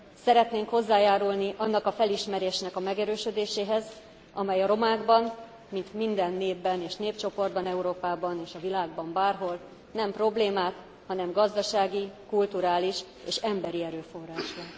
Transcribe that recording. Szeretnénk hozzájárulni annak a felismerésnek a megerősödéséhez, amely a romákban mint minden népben és népcsoportban Európában és a világban bárhol nem problémát, hanem gazdasági, kulturális és emberi erőforrást lát.